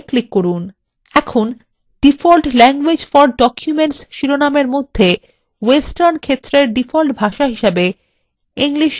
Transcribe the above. এখন default languages for documents শিরোনাম এর মধ্যে western ক্ষেত্রের ডিফল্ট ভাষা হিসাবে english india রয়েছে